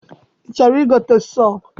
I chọrọ I gote sọọ?